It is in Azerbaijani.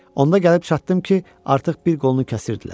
Onda gəlib çatdım ki, artıq bir qolunu kəsirdilər.